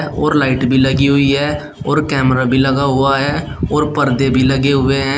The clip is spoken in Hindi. और लाइट भी लगी हुई है और कैमरा भी लगा हुआ है और पर्दे भी लगे हुए हैं।